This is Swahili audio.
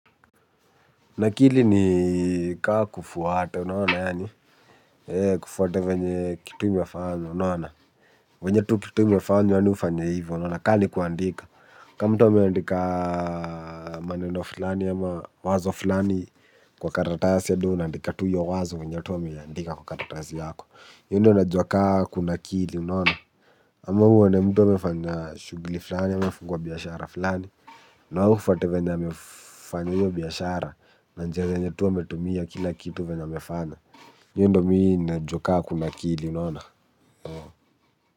Nakili ni kaa kufuata, unaona yaani kufuata vyenye kitu imefanywa unaona vyenye kitu imefanywa yani ufanye hivyo unaona ka nikuandika. Ka mtu ameandika maneno fulani ama wazo fulani kwa karatasi hadi wewe unaandika tu hiyo wazo vyenye tu ameiandika kwa karatasi yako. Hiyo ndio najua ka kunakili unaona. Ama uone mtu amefanya shughuli fulani amefungua biashara fulani. Na wewe ufwate venye amefanya hiyo biashara. Na njia zenye tu ametumia kila kitu venye amefanya hiyo ndio mimi najua kama kunakili unaona.